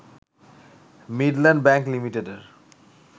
Midland bank লিমিটেডের